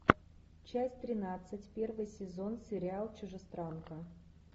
часть тринадцать первый сезон сериал чужестранка